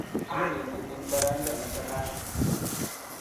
Kineti eng' poroindo ne tetat